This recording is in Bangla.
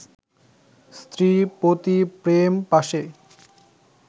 স্ত্রী পতি-প্রেম-পাশে